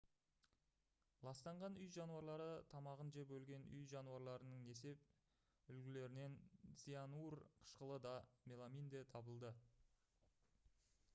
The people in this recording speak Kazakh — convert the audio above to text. ластанған үй жануарлары тамағын жеп өлген үй жануарларының несеп үлгілерінен цианур қышқылы да меламин де табылды